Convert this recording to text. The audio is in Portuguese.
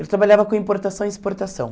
Ele trabalhava com importação e exportação.